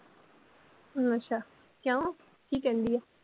ਅੱਛਾ, ਕਯੋਂ ਕੀ ਕਹਿੰਦੀ ਏ?